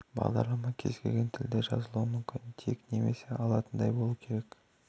бағдарлама кез-келген тілде жазылуы мүмкін тек немесе алатындай болу керек